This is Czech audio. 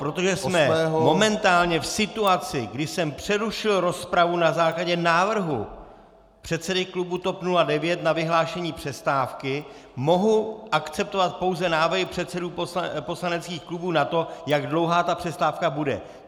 Protože jsme momentálně v situaci, kdy jsem přerušil rozpravu na základě návrhu předsedy klubu TOP 09 na vyhlášení přestávky, mohu akceptovat pouze návrhy předsedů poslaneckých klubů na to, jak dlouhá ta přestávka bude.